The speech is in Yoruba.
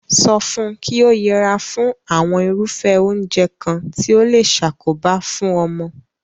So fun ki o yera fún àwon irúfé oúnje kan ti o le sakoba fun omo